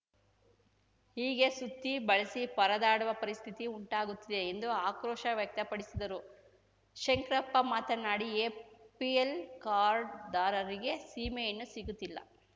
ಹೀಗೆ ಸುತ್ತಿ ಬಳಸಿ ಪರದಾಡುವ ಪರಿಸ್ಥಿತಿ ಉಂಟಾಗುತ್ತಿದೆ ಎಂದು ಆಕ್ರೋಶ ವ್ಯಕ್ತಪಡಿಸಿದರು ಶಂಕ್ರಪ್ಪ ಮಾತನಾಡಿ ಎಪಿಲ್‌ ಕಾರ್ಡುದಾರರಿಗೆ ಸೀಮೆ ಎಣ್ಣೆ ಸಿಗುತ್ತಿಲ್ಲ